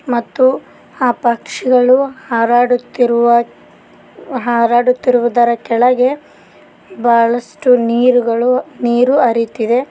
ಮತ್ತು ಆ ಪಕ್ಷಿಗಳು ಹಾರಾಡುತ್ತಿರುವ ಹಾರಾಡುತ್ತಿರುವುದರ ಕೆಳಗೆ ಬಹಳಷ್ಟು ನೀರ್ ಗಳು ನೀರು ಹರಿಯುತ್ತಿದೆ.